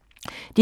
DR2